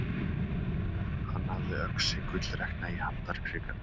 Hann hafði öxi gullrekna í handarkrikanum.